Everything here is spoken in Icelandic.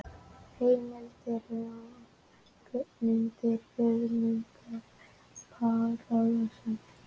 Heimildir og mynd: Guðmundur Páll Ólafsson.